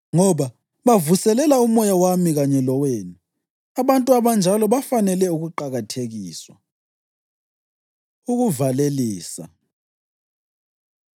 Ngoba bavuselela umoya wami kanye lowenu. Abantu abanjalo bafanele ukuqakathekiswa. Ukuvalelisa